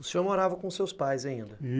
O senhor morava com os seus pais ainda?